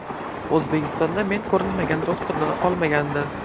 O‘zbekistonda men ko‘rinmagan doktorlar qolmagandi.